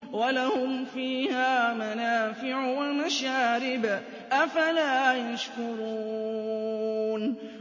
وَلَهُمْ فِيهَا مَنَافِعُ وَمَشَارِبُ ۖ أَفَلَا يَشْكُرُونَ